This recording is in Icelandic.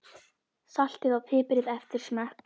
Saltið og piprið eftir smekk.